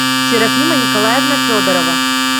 серафима николаевна федорова